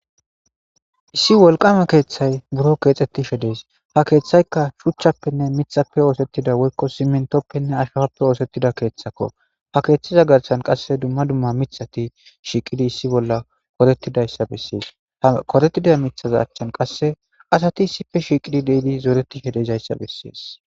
issi wolqama keeththay buro keexxettishe dees ha keeththaykka shuchchappenne mixappe oosettida woykko simentoppenne ashfappe oosettida keeththakko ha keeththiza garsan qasse dumma dumma mithati shiiqidi issi bolla korettidayssa bessees ha koretida mithaza achchan qasse asati issife shiiqidi deidi zooretishe dezayssa bessees